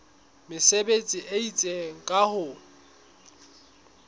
mesebetsi e itseng ka ho